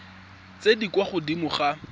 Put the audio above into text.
tse di kwa godimo ga